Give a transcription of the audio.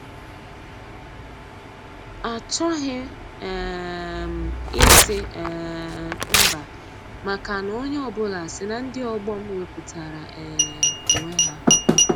Achọghị um m ịsị um mba maka na onye ọ bụla si na ndị ọgbọ m wepụtara um onwe ha.